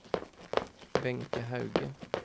Wenche Hauge